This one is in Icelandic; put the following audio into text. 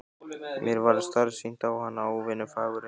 Mér varð starsýnt á hana, óvenju fagureyga.